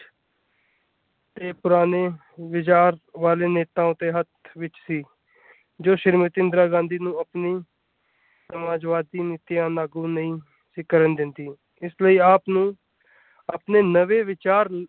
ਦੇ ਪੁਰਾਣੇ ਵਿਚਾਰ ਵਾਲੇ ਨੇਤਾਓ ਦੇ ਹੱਥ ਵਿਚ ਸੀ ਜੋ ਸ਼੍ਰੀਮਤੀ ਇੰਦਰਾ ਗਾਂਧੀ ਨੂੰ ਆਪਣੀ ਸਮਾਜਵਾਦੀ ਨੀਤੀਆਂ ਲਾਗੂ ਨਹੀਂ ਸੀ ਕਰਨ ਦਿੰਦੀ ਇਸ ਲਈ ਆਪ ਨੂੰ ਆਪਣੇ ਨਵੇਂ ਵਿਚਾਰ।